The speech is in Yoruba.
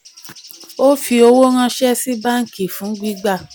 ó fi owó ranṣẹ́ sí báńkì fún gbígbà